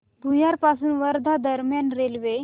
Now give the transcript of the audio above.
भुयार पासून वर्धा दरम्यान रेल्वे